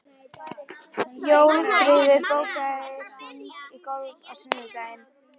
Jófríður, bókaðu hring í golf á sunnudaginn.